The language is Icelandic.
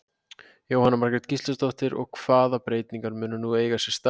Jóhanna Margrét Gísladóttir: Og, hvaða breytingar munu nú eiga sér stað?